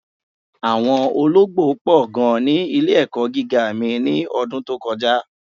Awọn ọlọgbo pọ̀ gan ni ilẹ̀-ẹ̀kọ́ gígá mí ni ọ̀dún tó kọja.